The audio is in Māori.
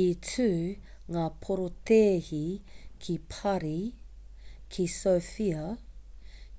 i tū ngā porotēhi ki parī ki sofia